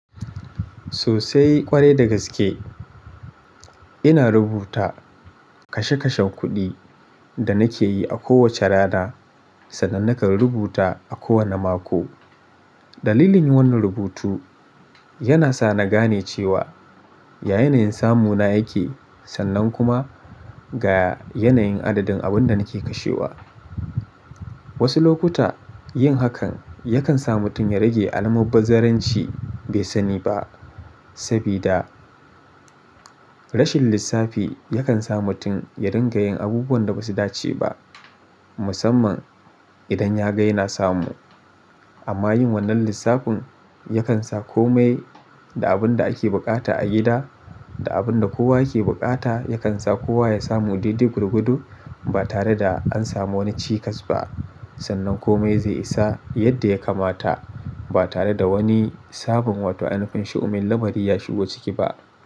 Sosai ƙwarai da gaske. Ina rubuta kashe kashen kuɗi da nake yi a kowace rana sannan nakan rubuta a kowane mako. Dalilin yin wannan rubutu yana sa na gane cewa yayanayin samu na yake sannan kuma ga yanayin adadin abun da nake kashewa. Wasu lokuta yin hakan yakan sa mutum ya rage alamar bizaranci bai sani ba. Sabida rashin lissafi yakan sa mutum ya ringa yin abubuwan da basu dace ba musamman idan ya ga yana samu. Amma yin wannan lissafin yakan sa kome da abin da ake buƙata a gida da abin da kowa yake buƙata yakan sa kowa ya samu daidaigwargodo ba tare da an samu wani cikas ba sannan kome zai isa yadda ya kamata ba tare da wani sabon wata ainufin shu'umin lamari ya shigo ciki ba.